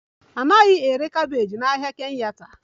A naghị ere cabbages n'ahịa Kenyatta